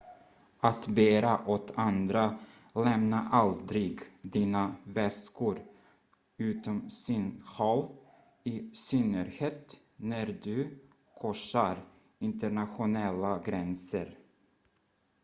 att bära åt andra lämna aldrig dina väskor utom synhåll i synnerhet när du korsar internationella gränser